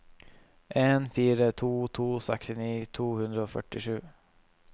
en fire to to sekstini to hundre og førtisju